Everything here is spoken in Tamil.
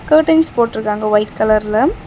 கர்ட்டன்ஸ் போட்ருக்காங்க ஒயிட் கலர்ல .